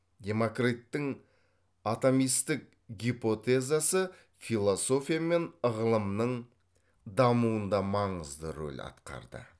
демокриттің атомистік гипотезасы философия мен ғылымның дамуында маңызды рөл атқарды